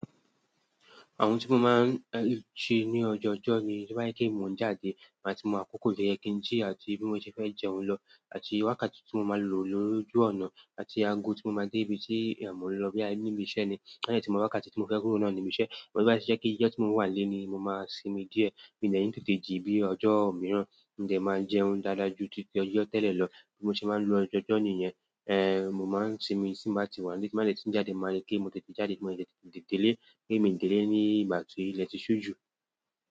Àwon ti mo máa ń lu ti ní ojó jo ní, tí wáá kí èmi òun jáde, màá ti mọ àkókò tó yẹ kí n jí àti bí mo ṣe fẹ́ jẹ́ oun lọ, àti wákàtí tí mo máa lò lórí ojú ọ̀nà, àti aago tí mo máa dé ibi tí èmi ó lọ bí àní níbi iṣẹ́ ni. Bẹ́ẹ̀ ni tí mo bá wákàtí tí mo fẹ́ kúrò náà níbi iṣẹ́, mo ní bá ṣe kí ilé tí mò ń wà lónìí ni mo máa sinmi díẹ̀. Mi ò ní tètè jí bí ojó mìíràn, n jẹ máa jẹ́ oun dáadáa ju títí ojó tẹ́lẹ̀ lọ bí mo ṣe máa ń lo ọjọ́jo ní yẹn. Eh mo máa ń sinmi tí n bá ti wà níbí, má ìlẹ́ tí n jáde, máa rí pé mo tètè jáde, mo tètè délé kí èmi délé nígbà tí ìlẹ́ ti ṣú jù.